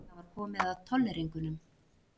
Það var komið að tolleringunum.